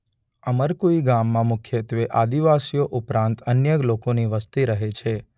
અમરકુઇ ગામમાં મુખ્યત્વે આદિવાસીઓ ઉપરાંત અન્ય લોકોની વસ્તી રહે છે.